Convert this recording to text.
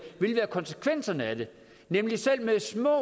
vil være konsekvenserne af det nemlig at selv med små